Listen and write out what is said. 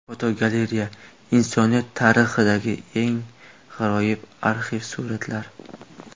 Fotogalereya: Insoniyat tarixidagi eng g‘aroyib arxiv suratlar.